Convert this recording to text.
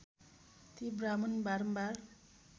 ती ब्राहमण बारम्बार